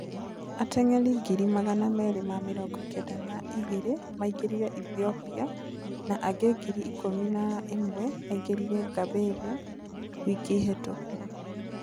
Ating'eri ngiri magana meri ma mĩrongo Kenda na ĩgĩrĩ maigirire Ethopia, na angĩ ngiri ikũmi na ĩmwe makĩingĩra Gambelia wiki hĩtũku